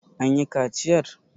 an yi kaciyar!